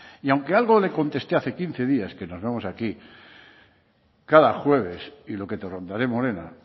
y aunque algo le conteste hace quince días que nos vemos aquí cada jueves y lo que te rondaré morena